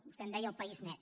vostè en deia el país net